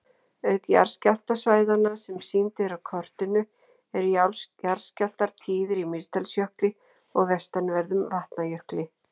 Auk jarðskjálftasvæðanna sem sýnd eru á kortinu eru jarðskjálftar tíðir í Mýrdalsjökli og vestanverðum Vatnajökli.